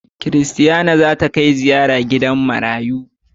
Christiana za ta kai ziyara a gidan marayun a juli.